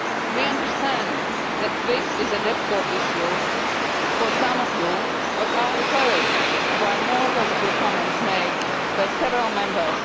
We understand that this is a difficult issue for some of you, but we are encouraged by the more positive comments made by several Members.